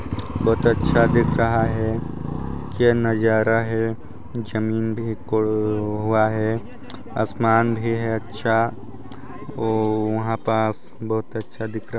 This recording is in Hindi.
बहुत अच्छा दिख़ रहा हैं क्या नज़ारा हैं ज़मीन भी हुआ हैं आसमान भी है अच्छा और वहाँ पास बहुत अच्छा दिख़ रहा हैं।